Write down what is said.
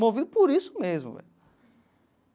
Movido por isso mesmo, velho.